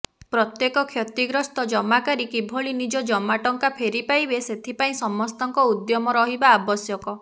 ପ୍ରତ୍ୟେକ କ୍ଷତିଗ୍ରସ୍ତ ଜମାକାରୀ କିଭଳି ନିଜ ଜମା ଟଙ୍କା ଫେରି ପାଇବେ ସେଥିପାଇଁ ସମସ୍ତଙ୍କ ଉଦ୍ୟମ ରହିବା ଆବଶ୍ୟକ